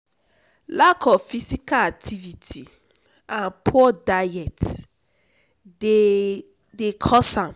lack of physical activity and poor diet dey cause am.